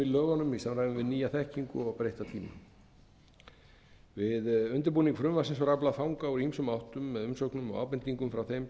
lögunum í samræmi við nýja þekkingu og breytta tíma við undirbúning frumvarpsins var aflað fanga úr ýmsum áttum með umsóknum og ábendingum frá þeim sem